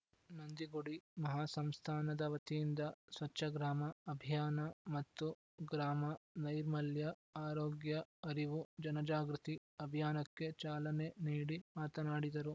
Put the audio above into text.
ನಂದಿಗುಡಿ ಮಹಾಸಂಸ್ಥಾನದವತಿಯಿಂದ ಸ್ವಚ್ಛಗ್ರಾಮ ಅಭಿಯಾನ ಮತ್ತು ಗ್ರಾಮ ನೈರ್ಮಲ್ಯ ಆರೋಗ್ಯ ಅರಿವು ಜನಜಾಗೃತಿ ಅಭಿಯಾನಕ್ಕೆ ಚಾಲನೆ ನೀಡಿ ಮಾತನಾಡಿದರು